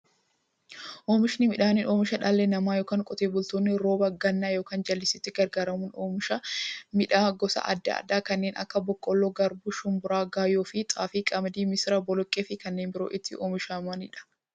Oomishni midhaanii, oomisha dhalli namaa yookiin Qotee bultoonni roba gannaa yookiin jallisiitti gargaaramuun oomisha midhaan gosa adda addaa kanneen akka; boqqoolloo, garbuu, shumburaa, gaayyoo, xaafii, qamadii, misira, boloqqeefi kanneen biroo itti oomishamaniidha.